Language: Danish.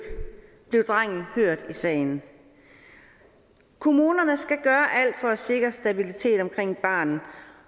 blev drengen hørt i sagen kommunerne skal gøre alt for at sikre stabilitet omkring barnet